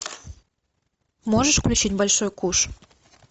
можешь включить большой куш